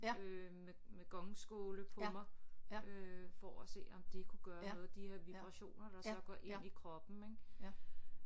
Øh med med gongskåle på mig øh for at se om det kunne gøre noget de her vibrationer der så går ind i kroppen ik